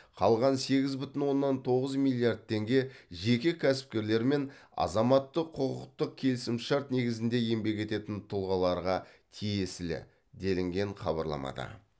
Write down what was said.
қалған сегіз бүтін оннан тоғыз миллиард теңге жеке кәсіпкерлер мен азаматтық құқықтық келісімшарт негізінде еңбек ететін тұлғаларға тиесілі делінген хабарламада